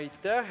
Aitäh!